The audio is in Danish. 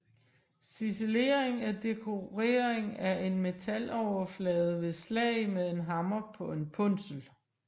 Ciselering er dekorering af en metaloverflade ved slag med en hammer på en punsel